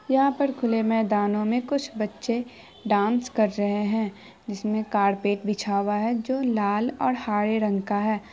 यहाँ पर खुले मैदानों में कुछ बच्चे डांस कर रहे हैं जिसमें कारपेट बिछा हुआ है जो लाल-हरे रंग का है।